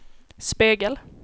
spegel